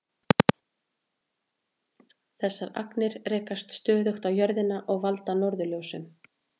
Þessar agnir rekast stöðugt á jörðina og valda norðurljósum.